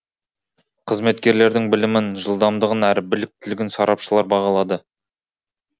қызметкерлердің білімін жылдамдығын әрі біліктілігін сарапшылар бағалады